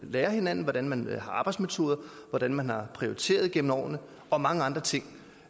lærer af hinanden hvordan man har arbejdsmetoder hvordan man har prioriteret gennem årene og mange andre ting